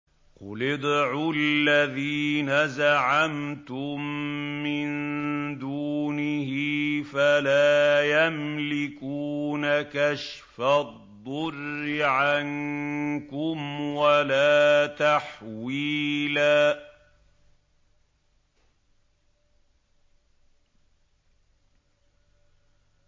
قُلِ ادْعُوا الَّذِينَ زَعَمْتُم مِّن دُونِهِ فَلَا يَمْلِكُونَ كَشْفَ الضُّرِّ عَنكُمْ وَلَا تَحْوِيلًا